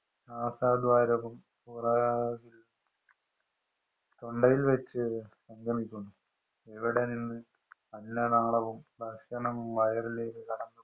നാസാ ദ്വാരവും. തൊണ്ടയില്‍ വച്ചു സംഗമിക്കുന്നു. ഇവിടെ നിന്ന് അന്നനാളവും, ഭക്ഷണവും വയറിലേക്ക് കടക്കുന്നു.